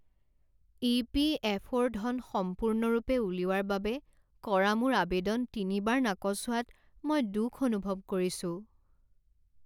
ই.পি.এফ.অ'.ৰ ধন সম্পূৰ্ণৰূপে উলিওৱাৰ বাবে কৰা মোৰ আৱেদন তিনিবাৰ নাকচ হোৱাত মই দুখ অনুভৱ কৰিছোঁ।